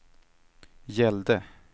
gällde